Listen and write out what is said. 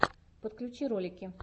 подключи ролики